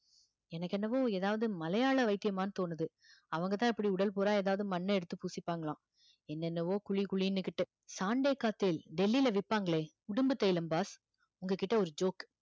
எனக்கு என்னவோ ஏதாவது மலையாள வைத்தியமான்னு தோணுது அவங்கதான் இப்படி உடல் பூரா ஏதாவது மண்ணை எடுத்து பூசிப்பாங்களாம் என்னென்னவோ குழி குழின்னுகிட்டு டெல்லியில விப்பாங்களே உடும்பு தைலம் boss உங்க கிட்ட ஒரு joke